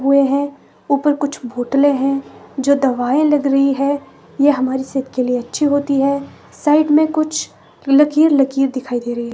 ये हैऊपर कुछ बोतलें हैं जो दवाएं लग रही है यह हमारी सेहत के लिए अच्छी होती है साइड में कुछ लकीर-लकीर दिखाई दे रही है।